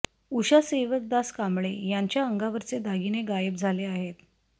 उषा सेवकदास कांबळे यांच्या अंगावरचे दागिने गायब झाले आहेत